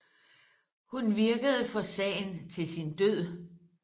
Hun virkede for sagen til sin død